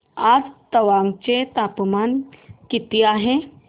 आज तवांग चे तापमान किती आहे